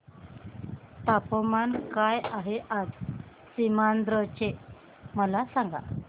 तापमान काय आहे आज सीमांध्र चे मला सांगा